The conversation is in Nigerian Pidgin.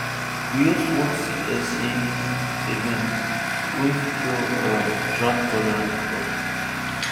we host one seed exchange event wey feature um droughttolerant crops